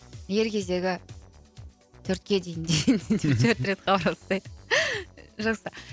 ер кезегі төртке дейін деп төрт рет хабарласайық жақсы